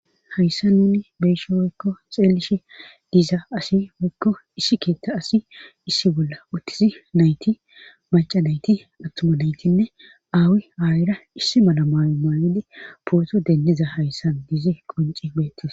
Hayssa nuni beeshe woykko xeellishe diizaa asi hoykko issi keetta asi issi bolla uttizi nayti maca nayti awtomadaytinne aawi aa7ira issi malamaayo maayidi pooto deenniza hayssan diizi qonci beettis